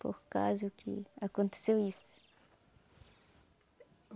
Por causa que aconteceu isso.